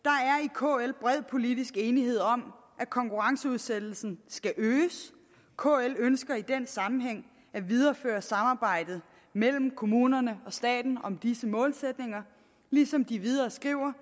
kl bred politisk enighed om at konkurrenceudsættelsen skal øges kl ønsker i den sammenhæng at videreføre samarbejdet mellem kommunerne og staten om disse målsætninger ligesom de videre skriver